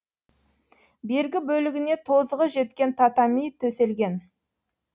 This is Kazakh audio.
бергі бөлігіне тозығы жеткен татами төселген